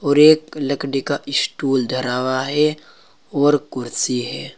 और एक लकड़ी का स्टूल धरा हुआ है और कुर्सी है।